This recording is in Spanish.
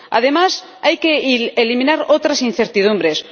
Además hay que eliminar otras incertidumbres.